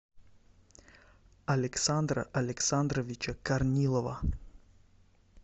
александра александровича корнилова